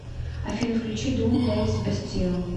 афина включи дум дэйс бастил